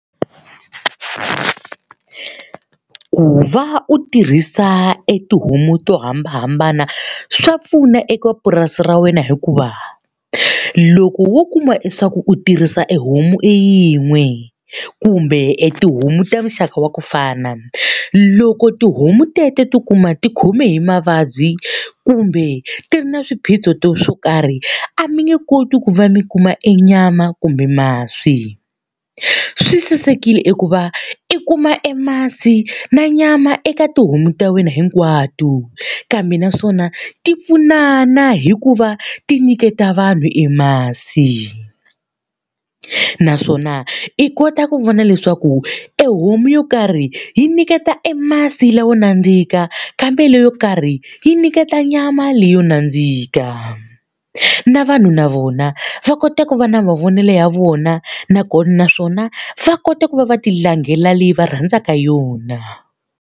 Ku va u tirhisa e tihomu to hambanahambana swa pfuna eka purasi ra wena hikuva, loko wo kuma leswaku u tirhisa e homu yin'we kumbe tihomu ta muxaka wa ku fana, loko tihomu teto to kuma ti khome hi mavabyi kumbe ti ri na swiphiqo swo karhi a mi nge koti ku va mi kuma e nyama kumbe masi. Swi sasekile i ku va i kuma e masi na nyama eka tihomu ta wena hinkwato, kambe naswona ti pfunana hi ku va ti nyiketa vanhu e masi. Naswona i kota ku vona leswaku e homu yo karhi yi nyiketa e masi lawa nandzika, kambela yo karhi yi nyiketa nyama leyo na nandzika. Na vanhu na vona va kota ku va na mavonelo ya vona naswona va kota ku va va tilangela leyi va rhandzaka yona.